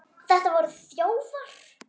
Þetta voru þjófar!